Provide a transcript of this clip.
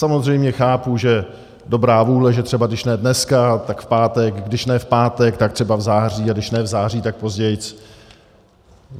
Samozřejmě chápu, že dobrá vůle, že třeba když ne dneska, tak v pátek, když ne v pátek, tak třeba v září, a když ne v září, tak později.